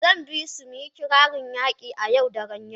Zan bisu mu yi kirarin yaƙi a Yau daren yau.